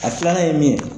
A filanan ye min ye